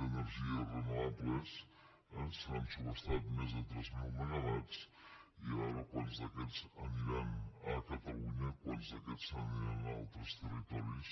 d’energies renovables se n’han subhastat més de tres mil megawatts i a veure quants d’aquests aniran a catalunya quants d’aquests se n’aniran a altres territoris